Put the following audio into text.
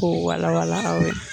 Ko wala wala aw ye.